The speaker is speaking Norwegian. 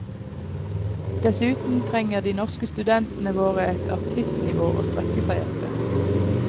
Dessuten trenger de norske studentene våre et artistnivå å strekke seg etter.